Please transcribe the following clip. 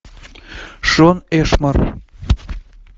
шон эшмор